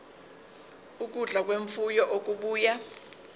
ukudla kwemfuyo okubuya